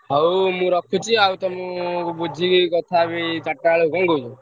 ହଉ ମୁଁ ରଖୁଛି ବୁଝିକି କଥା ହେବି ଚାରିଟା ବେଲେ ଆଉ କଣ କହୁଛୁ।